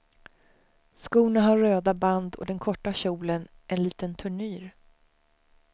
Skorna har röda band och den korta kjolen en liten turnyr.